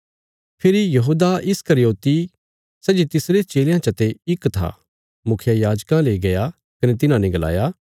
फेरी यहूदा इस्करियोति सै जे तिसरे चेलयां चते इक था मुखियायाजकां ले गया कने तिन्हाने गलाया